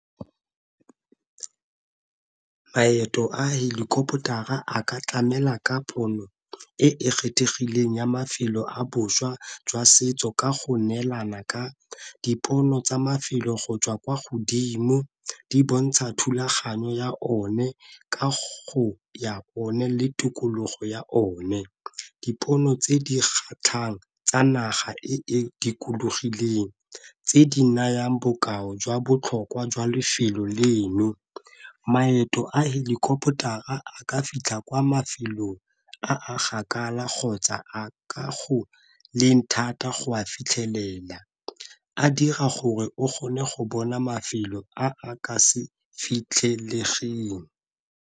Maeto a helicopter a ka tlamela ka pono e e kgethegileng ya mafelo a boswa jwa setso ka go neelana ka dipono tsa mafelo go tswa kwa godimo di bontsha thulaganyo ya one ka go ya one le tikologo ya one. Dipono tse di kgatlhang tsa naga e dikologileng tse di nayang bokao jwa botlhokwa jwa lefelo leno, maeto a helikopotara a ka fitlha kwa mafelong a gakala kgotsa a ka go leng thata go a fitlhelela, a dira gore o kgone go bona mafelo a a ka se fitlhelegelang.